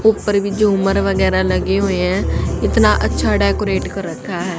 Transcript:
ऊपर में झूमर वगैरह लगे हुए हैं इतना अच्छा डेकोरेट कर रखा है।